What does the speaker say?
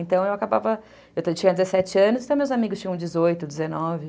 Então, eu acabava... Eu tinha dezessete anos, então meus amigos tinham dezoito, dezenove.